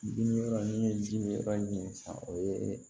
Bin yɔrɔ ni ye ji min yɔrɔ ɲini san o ye